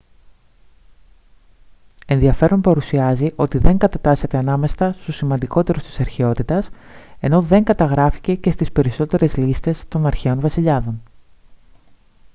ενδιαφέρον παρουσιάζει ότι δεν κατατάσσεται ανάμεσα στους σημαντικότερους της αρχαιότητας ενώ δεν καταγράφηκε και στις περισσότερες λίστες των αρχαίων βασιλιάδων